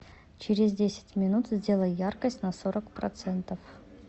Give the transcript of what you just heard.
через десять минут сделай яркость на сорок процентов